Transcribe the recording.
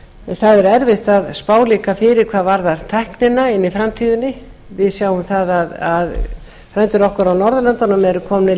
það er erfitt að spá fyrir hvað varðar tæknina inni í framtíðinni við sjáum það að frændur okkar á norðurlöndunum eru komnir lengra